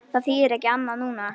Það þýðir ekkert annað núna.